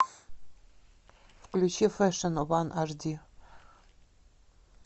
включи фэшн ван ашди